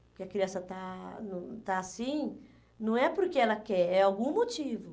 Porque a criança está no está assim, não é porque ela quer, é algum motivo.